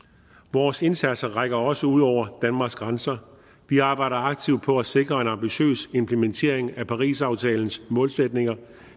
vores indsatser rækker også ud over danmarks grænser vi arbejder aktivt på at sikre en ambitiøs implementering af parisaftalens målsætninger